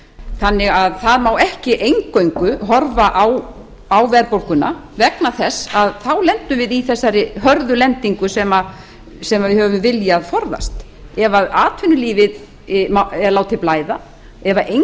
þannig að það má ekki eingöngu horfa á verðbólguna vegna þess að þá lendum við í þessari hörðu lendingu sem við höfum viljað forðast ef atvinnulífinu er látið blæða ef eingöngu